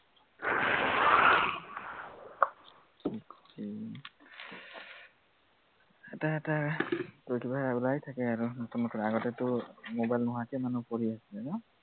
উম এটা এটা প্ৰতিবাৰে ওলাই থাকে আৰু নতুন নতুন, আগতেটো mobile নোহোৱাকে মানুহ পঢ়ি আছিলে ন